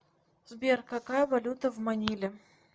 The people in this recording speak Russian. сбер какая валюта в маниле